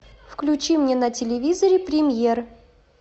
включи мне на телевизоре премьер